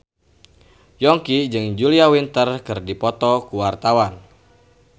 Yongki jeung Julia Winter keur dipoto ku wartawan